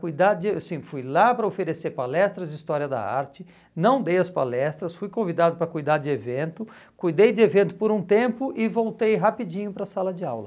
cuidar de, assim, Fui lá para oferecer palestras de história da arte, não dei as palestras, fui convidado para cuidar de evento, cuidei de evento por um tempo e voltei rapidinho para a sala de aula.